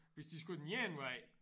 Hvis de skulle den ene vej